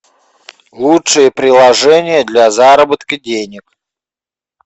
лучшие приложения для заработка денег